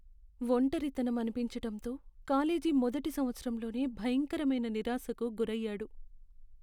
ఒంటరితనం అనిపించటంతో కాలేజీ మొదటి సంవత్సరంలో భయంకరమైన నిరాశకు గురయ్యాడు.